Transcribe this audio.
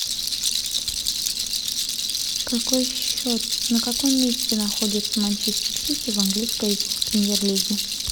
какой счет на каком месте находится манчестер сити в английской премьер лиге